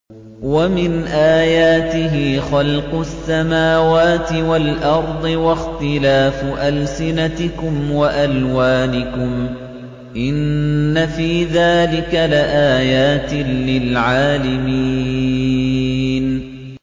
وَمِنْ آيَاتِهِ خَلْقُ السَّمَاوَاتِ وَالْأَرْضِ وَاخْتِلَافُ أَلْسِنَتِكُمْ وَأَلْوَانِكُمْ ۚ إِنَّ فِي ذَٰلِكَ لَآيَاتٍ لِّلْعَالِمِينَ